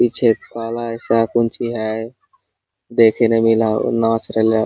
पीछे काला जैसा कौन चीज है देखने मे नाच रहलो है।